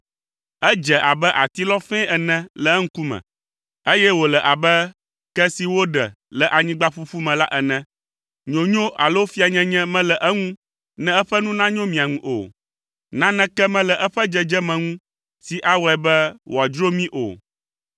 Edze abe atilɔ fɛ̃ ene le eŋkume, eye wòle abe ke si woɖe le anyigba ƒuƒu me la ene. Nyonyo alo fianyenye mele eŋu ne eƒe nu nanyo mia ŋu o. Naneke mele eƒe dzedzeme ŋu si awɔe be wòadzro mí o.